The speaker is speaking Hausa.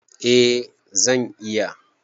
Eh zan iya.